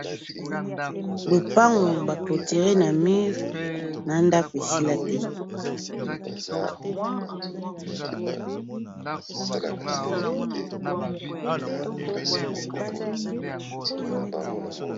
Lopangu ba cloture na mur na ndako esila te.